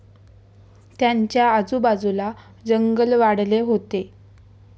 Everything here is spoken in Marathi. त्यांच्या आजूबाजूला जंगल वाढले होते.